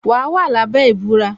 Wa wà lábẹ́ ìbúra